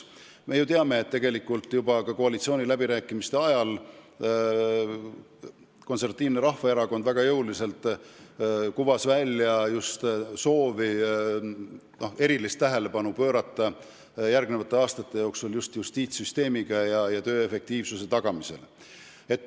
Me ju teame, et tegelikult juba koalitsiooniläbirääkimiste ajal käis Konservatiivne Rahvaerakond väga jõuliselt välja soovi pöörata järgmiste aastate jooksul erilist tähelepanu justiitssüsteemi töö efektiivsuse tagamisele.